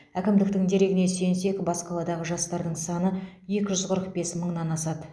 әкімдіктің дерегіне сүйенсек бас қаладағы жастардың саны екі жүз қырық бес мыңнан асады